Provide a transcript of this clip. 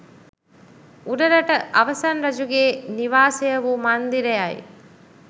උඩරට අවසන් රජුගේ නිවාසය වූ මන්දිරයයි